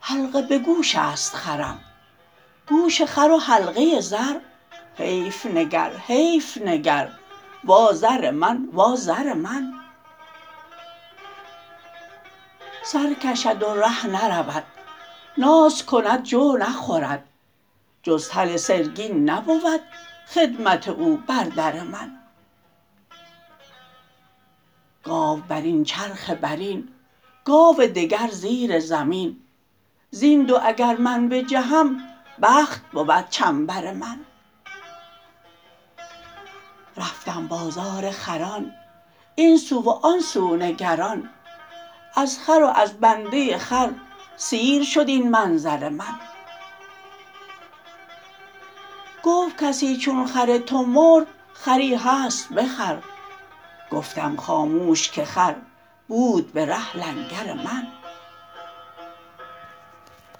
حلقه به گوش است خرم گوش خر و حلقه زر حیف نگر حیف نگر وازر من وازر من سر کشد و ره نرود ناز کند جو نخورد جز تل سرگین نبود خدمت او بر در من گاو بر این چرخ بر این گاو دگر زیر زمین زین دو اگر من بجهم بخت بود چنبر من رفتم بازار خران این سو و آن سو نگران از خر و از بنده خر سیر شد این منظر من گفت کسی چون خر تو مرد خری هست بخر گفتم خاموش که خر بود به ره لنگر من